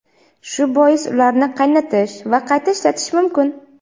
Shu bois ularni qaynatish va qayta ishlatish mumkin.